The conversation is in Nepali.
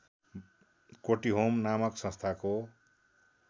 कोटीहोम नामक संस्थाको